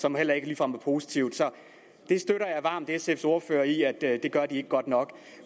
som heller ikke ligefrem er positivt så jeg støtter varmt sfs ordfører i at det gør de ikke godt nok